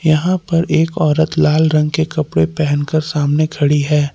यहां पर एक औरत लाल रंग के कपड़े पहनकर सामने खड़ी है।